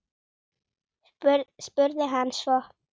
spurði hann svo.